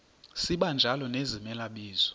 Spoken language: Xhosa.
sibanjalo nezimela bizo